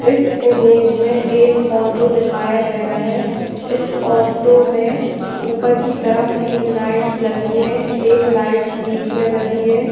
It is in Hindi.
इस इमेज में एक ऑटो दिखाया गया है इस ऑटो में ऊपर की तरफ तीन लाइट्स लगी हैं एक लाइट्स बीच में लगी है।